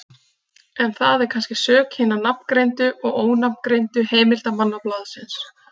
En það er kannski sök hinna nafngreindu og ónafngreindu heimildarmanna blaðsins.